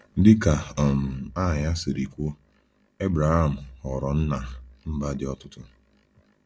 Dị ka um aha ya siri kwuo, Ebraham ghọrọ nna mba dị ọtụtụ.